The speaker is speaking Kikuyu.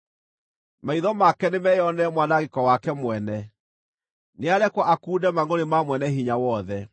Maitho make nĩmeyonere mwanangĩko wake mwene; nĩarekwo akunde mangʼũrĩ ma Mwene-Hinya-Wothe.